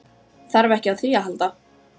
Þarf ekki á því að halda.